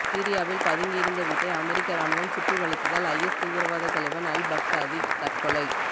சிரியாவில் பதுங்கி இருந்த வீட்டை அமெரிக்க ராணுவம் சுற்றி வளைத்ததால் ஐஎஸ் தீவிரவாத தலைவன் அல் பாக்தாதி தற்கொலை